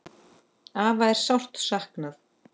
Afa er sárt saknað.